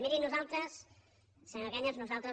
miri nosaltres senyor cañas nosaltres